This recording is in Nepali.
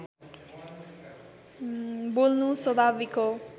बोल्नु स्वभाविक हो